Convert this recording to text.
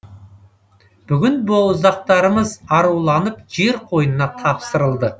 бүгін боздақтарымыз аруланып жер қойнына тапсырылды